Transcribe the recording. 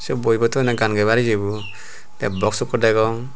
yot boi bo toyonney gaan gebar iyebo tey box ekko degong.